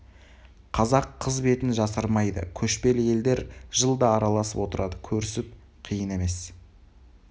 қазақ қыз бетін жасырмайды көшпелі елдер жылда араласып отырды көрісіп қиын емес